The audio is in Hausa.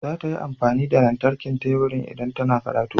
Za ta yi amfani da lantarkin teburin idan tana karatu.